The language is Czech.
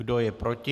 Kdo je proti?